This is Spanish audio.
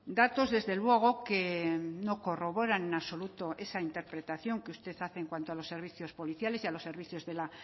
datos desde luego que no corroboran en absoluto esa interpretación que usted hace en cuanto a los servicios policiales y a los servicios de la